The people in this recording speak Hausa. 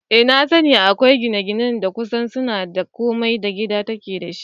Eh nasani, akwai gine-gine da kusan suna da komai da gida take dashi